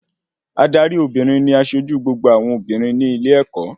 Adarí Obìnrin ní asojú gbogbo awọn obìnrin ní ilé-ẹ̀kọ́